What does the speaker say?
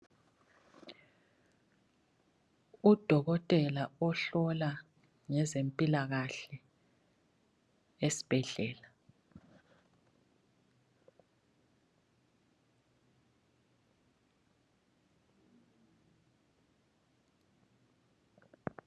Udokotela ohlola ngezempilakahle esibhedlela.